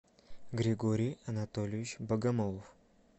григорий анатольевич богомолов